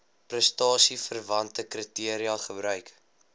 prestasieverwante kriteria gebruik